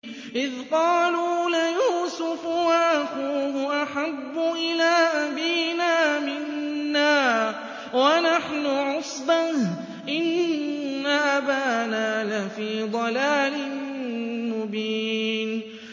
إِذْ قَالُوا لَيُوسُفُ وَأَخُوهُ أَحَبُّ إِلَىٰ أَبِينَا مِنَّا وَنَحْنُ عُصْبَةٌ إِنَّ أَبَانَا لَفِي ضَلَالٍ مُّبِينٍ